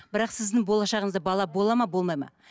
бірақ сіздің болашағыңызда бала болады ма болмайды ма